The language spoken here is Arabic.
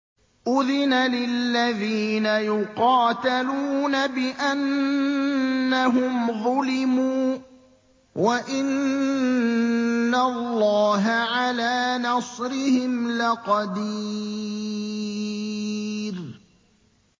أُذِنَ لِلَّذِينَ يُقَاتَلُونَ بِأَنَّهُمْ ظُلِمُوا ۚ وَإِنَّ اللَّهَ عَلَىٰ نَصْرِهِمْ لَقَدِيرٌ